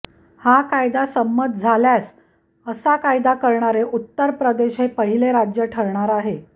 हा कायदा संमत झाल्यास असा कायदा करणारे उत्तर प्रदेश हे पहिले राज्य ठरणार आहे